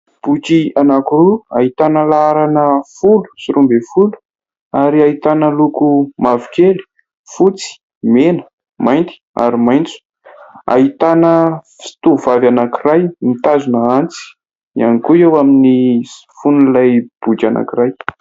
Boky anaky roa ahitana laharana folo sy roa ambin'ny folo ary ahitana loko mavokely, fotsy, mena, mainty ary maintso. Ahitana tovovavy anankiray mitazona antsy ihany koa eo amin'ny fon'ilay boky anankiray.